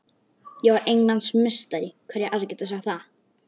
Ég var Englandsmeistari, hverjir aðrir geta sagt það?